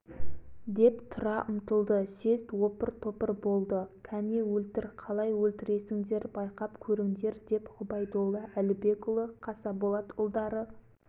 біз бұл қарарға бағынбаймыз деді съезд ду көтерілді балтанұлы қонышынан бір қанжарды суырып алып өлтіру керек